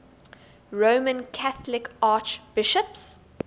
roman catholic archbishops